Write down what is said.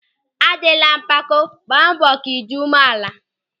A dịla mpako, gba mbọ ka ị dị umeala!